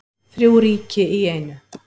Þrjú ríki í einu